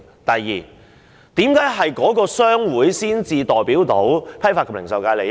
第二，為何只有某些商會才能代表批發及零售界的利益？